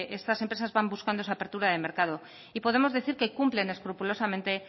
estas empresas van buscando esa apertura de mercado y podemos decir que cumplen escrupulosamente